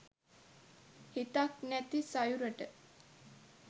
හිතක් නැති සයුරට